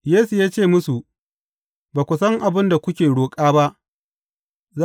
Yesu ya ce musu, Ba ku san abin da kuke roƙo ba.